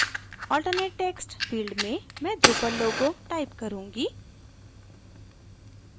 alternate text field में मैं drupal logo type करूँगी